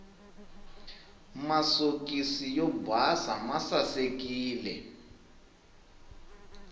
masokisi yo basa masasekile